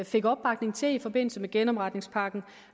fik opbakning til i forbindelse med genopretningspakken